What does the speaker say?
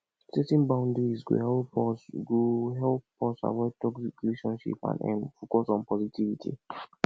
setting boundaries go help us go help us avoid toxic relationships and um focus on positivity